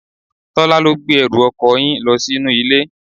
Tola ló gbé ẹrù ọkọ yín lo sí inú ilé.